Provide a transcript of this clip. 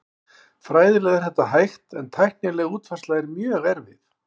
Fræðilega er þetta hægt en tæknileg útfærsla er mjög erfið.